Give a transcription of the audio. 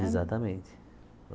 Exatamente.